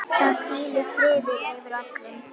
Það hvílir friður yfir öllu.